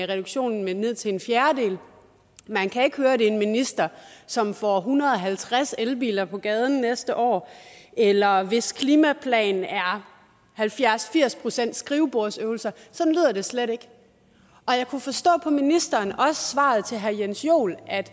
reduktionen med ned til en fjerdedel man kan ikke høre at det er en minister som får en hundrede og halvtreds elbiler på gaden næste år eller hvis klimaplan er halvfjerds til firs procent skrivebordsøvelser sådan lyder det slet ikke jeg kunne forstå på ministeren også i svaret til herre jens joel at